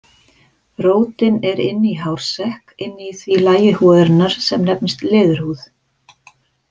Rótin er inni í hársekk inni í því lagi húðarinnar sem nefnist leðurhúð.